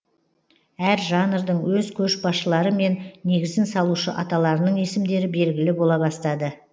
әр жанрдың өз көшбасшылары мен негізін салушы аталарының есімдері белгілі бола бастады